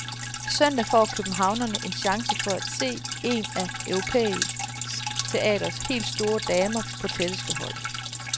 Søndag får københavnerne en chance for se en af europæisk teaters helt store damer på tætteste hold.